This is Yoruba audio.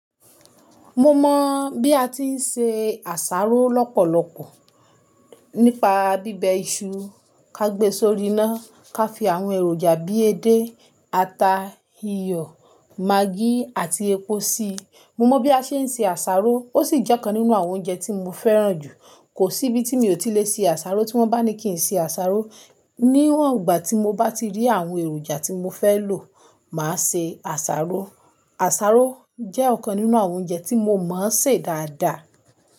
Mo mọ̀ bí a ti ń se àsáró lọ́pọ̀lọpọ̀ nípa bíbẹ iṣu, ká gbe sórí iná, ká fi àwọn èròjà bíi edé, ata, iyọ̀, magí àti epo si. Mo mọ̀ bí a ṣe ń se àsáró, ó sì jẹ́ ọ̀kan nínú àwọn oúnjẹ tí mo fẹ́ràn jù. Kò sí ibi tí mi ò tí lè se àsáró tí wọ́n bá ní kí n se àsáró. Ni ìwọ̀n ìgbà tí mo bá ti rí àwọn èròjà tí mo fẹ́ lò, màá se àsáró. Àsáró jẹ́ ọ̀kan nínú àwọn oúnjẹ tí mo mọ̀ ọ́n ṣe dáadáa.